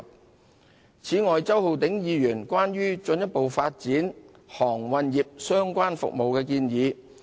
此外，政府正積極跟進周浩鼎議員關於進一步發展航運業相關服務的建議。